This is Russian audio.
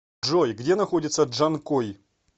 джой где находится джанкой